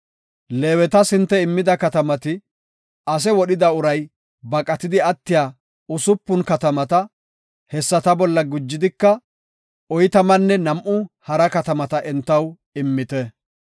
“Leewetas hinte immida katamati, ase wodhida uray baqatidi attiya usupun katamata; hessata bolla gujidika, oytamanne nam7u hara katamata entaw immite.